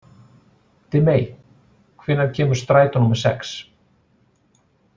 Dimmey, hvenær kemur strætó númer sex?